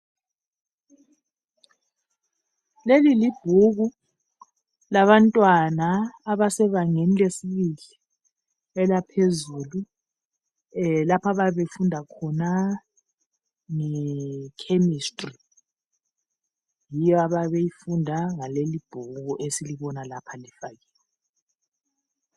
Leli libhuku labantwana abasebangeni lesibili elphezulu lapha abayabe befunda khona nge"chemistry".Yiyo abayabe beyifunda ngaleli ibhuku esilibona lapha libhaliwe.